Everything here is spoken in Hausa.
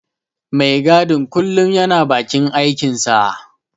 Mai gadin kullum yana bakin aikinsa.